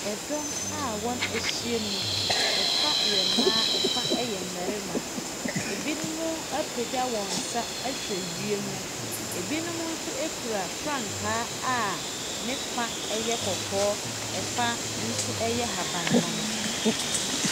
Dɔm a wɔahyia mu, fa yɛ mmaa, fa yɛ mmarima. Binom apagya wɔn nsa ahwɛ wiem, binom nso kura frankaa a ne fa yɛ kɔkɔɔ, fa nso yɛ ahabanmono.